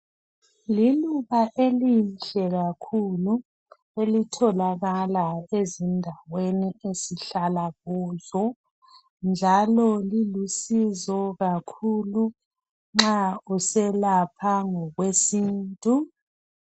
Liluba elihle kakhulu elitholakala ezindaweni esihlala kuzo njalo lilusizo kakhulu nxa uselapha ngokwesintu.